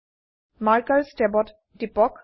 markers ট্যাবত টিপক